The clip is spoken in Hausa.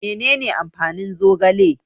Menene amfanin zogale?